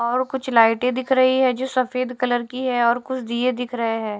और कुछ लाइटें दिख रही है जो सफेद कलर की है और कुछ दिए दिख रहे है।